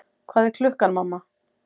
Hvað er klukkan, mamma?